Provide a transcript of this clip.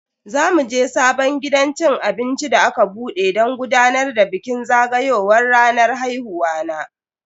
Za muje sabon gidan cin abinci da aka bude don gudanar da bikin zagayowar ranar haihuwa na.